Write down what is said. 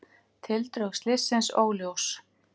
Tildrög slyssins óljós